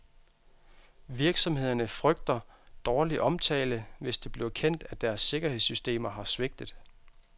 Virksomhederne frygter dårlig omtale, hvis det bliver kendt, at deres sikkerhedssystemer har svigtet.